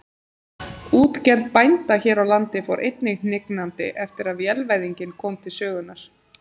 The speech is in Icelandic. Útgerð bænda hér á landi fór einnig hnignandi eftir að vélvæðingin kom til sögunnar.